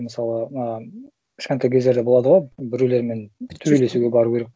мысалы а кішкентай кездерде болады ғой біреулермен төбелесуге бару керек